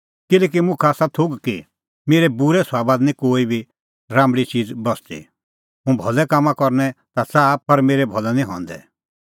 किल्हैकि मुखा आसा थोघ कि मेरै बूरै सभाबा दी निं कोई बी राम्बल़ी च़ीज़ बस्सदी हुंह भलै काम करनै ता च़ाहा पर मेरै भलै निं हंदै